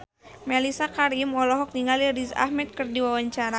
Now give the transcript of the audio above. Mellisa Karim olohok ningali Riz Ahmed keur diwawancara